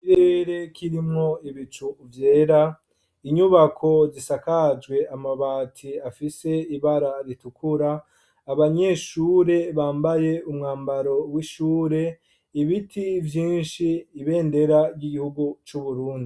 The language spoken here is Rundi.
Ikirere kirimwo ibicu vyera, inyubako zisakajwe amabati afise ibara ritukura, abanyeshure bambaye umwambaro w’ishure, ibiti vyinshi, ibendera ry’igihugu c’uburundi.